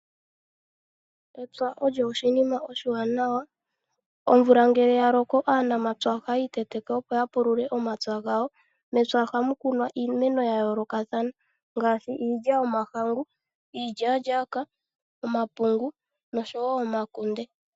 Epya olyo oshinima oshiwanawa. Omvula ngele ya loko aanamapya ohaya iteteke opo ya pulule omapya gawo. Mepya ohamu kunwa iimeno ya yoolokathana ngaashi iilya yomahangu, iilyalyaka, omapungu noshowo omakunde.